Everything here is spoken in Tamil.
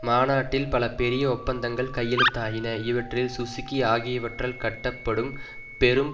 மாநாட்டில் பல பெரிய ஒப்பந்தங்கள் கையெழுத்தாயின இவற்றில் சுசுகி ஆகியவற்றால் கட்டப்படும் பெரும்